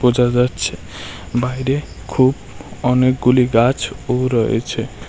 জল যাচ্ছে বাইরে খুব অনেকগুলি গাছ ও রয়েছে।